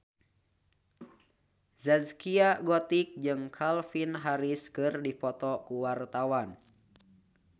Zaskia Gotik jeung Calvin Harris keur dipoto ku wartawan